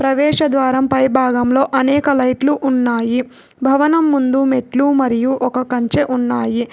ప్రవేశద్వారం పై భాగంలో అనేక లైట్లు ఉన్నాయి భవనం ముందు మెట్లు మరియు ఒక కంచె ఉన్నాయి.